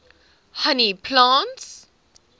honey plants